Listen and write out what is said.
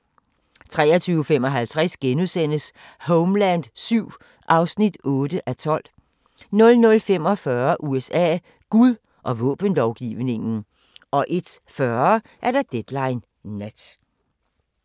23:55: Homeland VII (8:12)* 00:45: USA: Gud og våbenlovgivningen 01:40: Deadline Nat